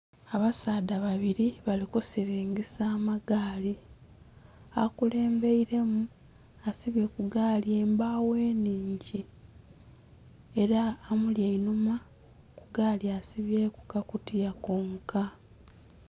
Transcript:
Abasaadha babiri balikusiringisa amagaali, akulembeelemu asibye kugaali embawo enhingi era amuli enhuma kugaali asibyeku kakutiya konka.